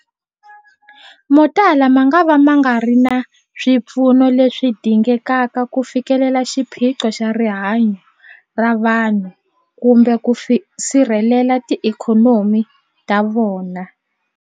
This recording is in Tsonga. Motala mangava ma nga ri na swipfuno leswi dingekaka ku fikelela xiphiqo xa rihanyu ra vanhu kumbe ku sirhelela tiikhonomi ta vona.